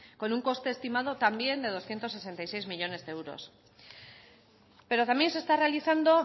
con un coste estimado también de doscientos sesenta y seis millónes de euros pero también se está realizando